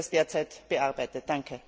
Wie wird das derzeit bearbeitet?